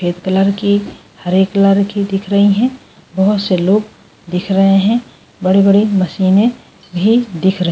Colour की हरे colour की दिख रही है बहुत से लोग दिख रहे हैं बड़े-बड़ी मशीनें भी दिख रहा है ।